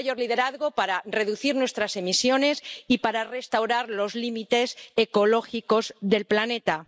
Un mayor liderazgo para reducir nuestras emisiones y para restaurar los límites ecológicos del planeta.